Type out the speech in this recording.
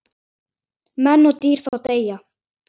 Menn og dýr þá deyja.